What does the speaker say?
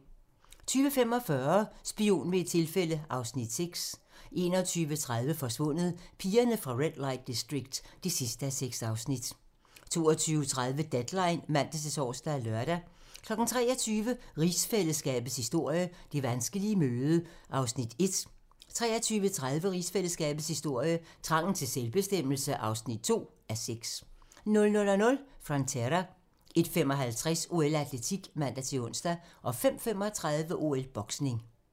20:45: Spion ved et tilfælde (Afs. 6) 21:30: Forsvundet: Pigerne fra Red Light District (6:6) 22:30: Deadline (man-tor og lør) 23:00: Rigsfællesskabets historie: Det vanskelige møde (1:6) 23:30: Rigsfællesskabets historie: Trangen til selvbestemmelse (2:6) 00:00: Frontera 01:55: OL: Atletik (man-ons) 05:35: OL: Boksning